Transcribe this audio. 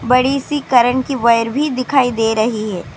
بڑی سی کرنٹ کی وائر بھی دکھائی دے رہے ہیں.